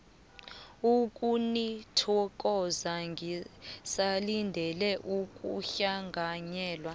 ukunithokoza ngisalindele ukuhlanganyela